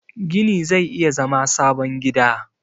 gini zai iya zama sabon gida